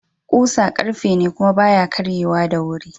Kusa ƙarfe ne kuma baya karye wa da wuri.